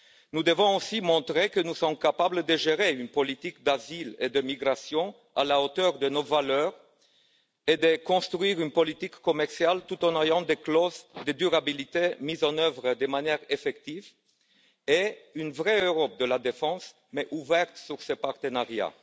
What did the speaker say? Nous devons aussi montrer que nous sommes capables de gérer une politique d'asile et de migration à la hauteur de nos valeurs, de construire une politique commerciale tout en ayant des clauses de durabilité mises en œuvre de manière effective, et de bâtir une vraie Europe de la défense, néanmoins ouverte sur ses partenariats.